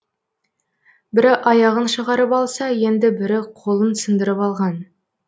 бірі аяғын шығарып алса енді бірі қолын сындырып алған